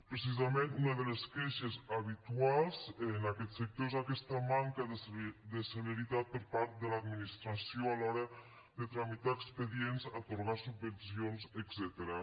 precisament una de les queixes habituals en aquest sector és aquesta manca de celeritat per part de l’administració a l’hora de tramitar expedients atorgar subvencions etcètera